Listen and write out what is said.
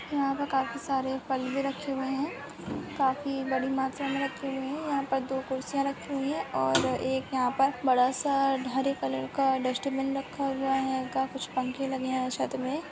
यहाँ पे काफी सारे फल भी रखे हुए है काफी बड़ी मात्रा में रखे हुए है यहाँ पे दो खुर्सियाँ रखी हुई है और एक यहाँ पे बड़ा सा हरे कलर का डस्टबिन रखा हुआ है इनका कुछ पंखे लगे हुआ है छत में।